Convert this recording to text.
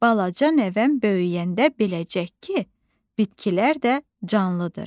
Balaca nəvəm böyüyəndə biləcək ki, bitkilər də canlıdır.